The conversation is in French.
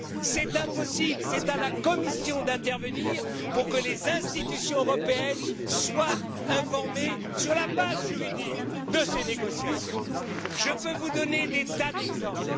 C'est impossible, c'est à la Commission d'intervenir pour que les institutions européennes soient informées sur la base juridique de ces négociations. Je peux vous donner des tas d'exemples.